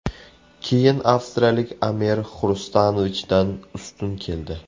Keyin avstriyalik Amer Xrustanovichdan ustun keldi.